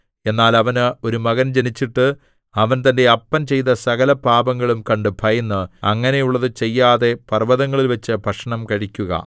എന്നാൽ അവന് ഒരു മകൻ ജനിച്ചിട്ട് അവൻ തന്റെ അപ്പൻ ചെയ്ത സകലപാപങ്ങളും കണ്ട് ഭയന്ന് അങ്ങനെയുള്ളത് ചെയ്യാതെ പർവ്വതങ്ങളിൽവച്ച് ഭക്ഷണം കഴിക്കുക